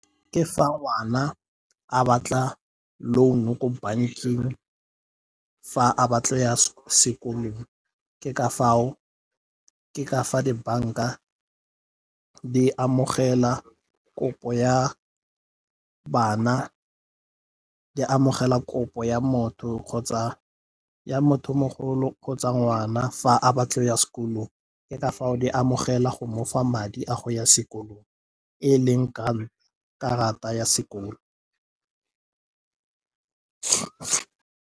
Ke fa ngwana a batla loan ko bankeng fa a batla ya sekolong ke ka fa dibanka di amogela kopo ya bana, di amogela kopo ya motho mogolo kgotsa ngwana fa a batla go ya sekolong. Ke ka foo di amogela go mofa madi a go ya sekolong e leng karata ya sekolo.